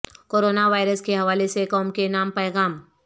corona virus کے حوالے سے قوم کے نام پیغام